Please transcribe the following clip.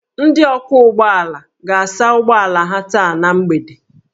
Ndị ọkwọ ụgbọala ga-asa ụgbọ ala ha taa na mgbede